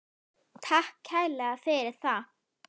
Takk kærlega fyrir það.